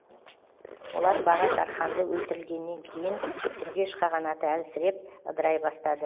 олар баға тарханды өлтірілгеннен кейін түргеш қағанаты әлсіреп ыдырай бастады